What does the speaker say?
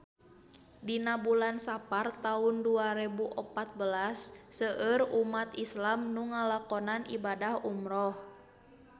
Dina bulan Sapar taun dua rebu opat belas seueur umat islam nu ngalakonan ibadah umrah